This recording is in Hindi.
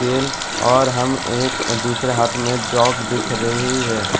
तेल और हम एक दूसरे हाथ में जग देख रही है ।